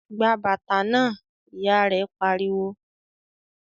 "Gba bàtà náà!", Ìyá rẹ̀ pariwo